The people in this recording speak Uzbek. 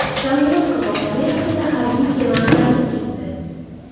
Kamerun qirg‘oqlari yaqinida harbiy kema ag‘darilib ketdi.